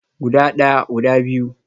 Guda daya, guda biyu